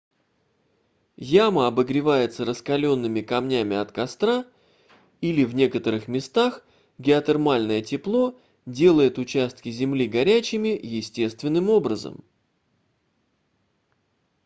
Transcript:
яма обогревается раскалёнными камнями от костра или в некоторых местах геотермальное тепло делает участки земли горячими естественным образом